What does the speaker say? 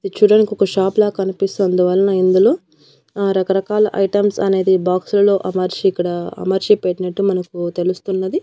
ఇది చూడ్డానికి ఒక షాప్ లా కనిపిస్తుంది అందువల్ల ఇందులో ఆ రకరకాల ఐటమ్స్ అనేది బాక్స్ లలో అమర్చి ఇక్కడ అమర్చి పెట్టినట్టు మనకు తెలుస్తున్నది.